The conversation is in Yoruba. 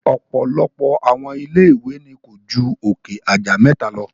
Ọ̀pọ̀lọpọ̀ àwọn ilé ìwé ni ko ju òkè aja mẹta lọ.